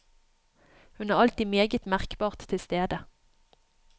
Hun er alltid meget merkbart til stede.